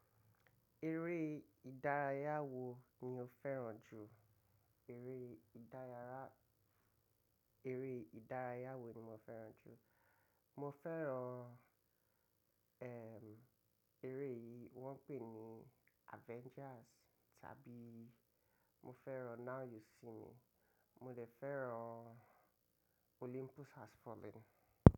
Eré ìdárayá wo ni o fẹ́ràn jù? Eré ìdárayá, eré ìdárayá wo ni mo fẹ́ràn jù? Mo fẹ́ràn eh, eré yìí wọ́n ń pè ní Avengers, tàbí mo fẹ́ràn Now You See Me, mo le fẹ́ràn Olympus Has Fallen.